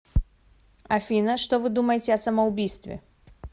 афина что вы думаете о самоубийстве